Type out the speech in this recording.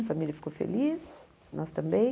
A família ficou feliz, nós também.